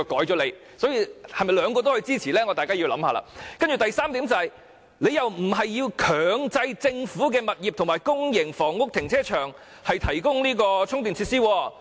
易志明議員的議案第三點並沒有建議強制政府物業及公營房屋停車場提供充電設施。